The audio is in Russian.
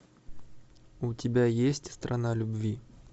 у тебя есть страна любви